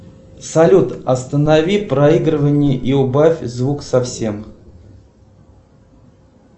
салют останови проигрывание и убавь звук совсем